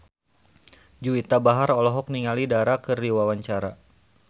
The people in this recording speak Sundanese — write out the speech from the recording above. Juwita Bahar olohok ningali Dara keur diwawancara